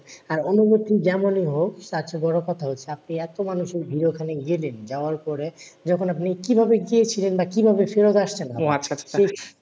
হ্যাঁ অনুভুতি যেমনি হোক। তারচেয়ে বড়কথা হচ্ছে আপনি এত মানুষের ভীড়ে ওখানে গেলেন যাওয়ার পরে, যখন আপনি কি ভাবে গিয়েছিলেন? বা কিভাবে ফেরত আসছেন?